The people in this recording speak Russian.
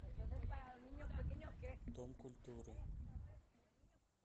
дом культуры